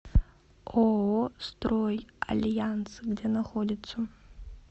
ооо стройальянс где находится